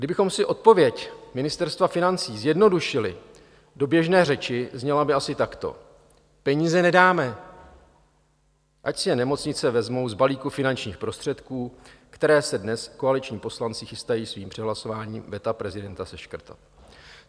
Kdybychom si odpověď Ministerstva financí zjednodušili do běžné řeči, zněla by asi takto: Peníze nedáme, ať si je nemocnice vezmou z balíku finančních prostředků, které se dnes koaliční poslanci chystají svým přehlasováním veta prezidenta seškrtat.